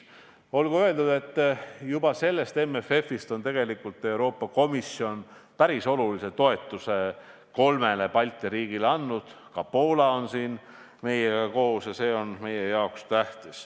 Olgu öeldud, et juba MFF-ist on Euroopa Komisjon tegelikult päris olulise toetuse kolmele Balti riigile andnud, ka Poola on siin meiega koos, ja see on meie jaoks tähtis.